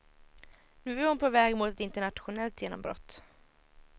Nu är hon på väg mot ett internationellt genombrott.